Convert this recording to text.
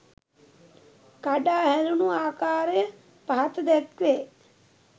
කඩා හැලුණු ආකාරය පහත දැක්වේ.